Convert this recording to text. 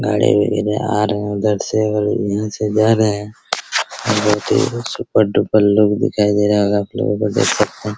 गाड़ियां वगैरह आ रहे हैं उधर से और यहां से जा रहे हैं सुपर डुपर लुक दिखाई दे रहा होगा आपलोगों को देख सकते हैं।